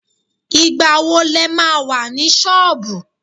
Ìgbà wo le ma wà ní sọọbù?